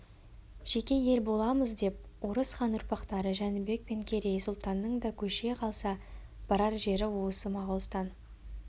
жеке ел боламыз деп орыс хан ұрпақтары жәнібек пен керей сұлтанның да көше қалса барар жері осы моғолстан